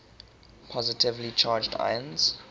positively charged ions